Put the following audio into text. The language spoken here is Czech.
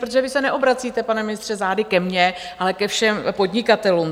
Protože vy se neobracíte, pane ministře, zády ke mně, ale ke všem podnikatelům.